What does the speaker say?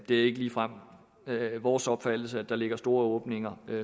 det er ikke ligefrem vores opfattelse at der ligger store åbninger